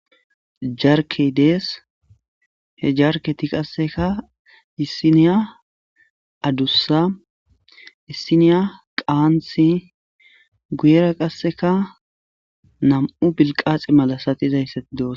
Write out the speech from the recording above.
Jarke dees he jarketi qasseka issiniya addussa issiniya qaanthi guyera qasseka nam'u bilqaaxe malasatizayssa dos